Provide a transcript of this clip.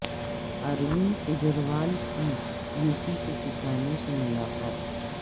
اروند کجریوال کی U P کے کسانوں سے ملاقات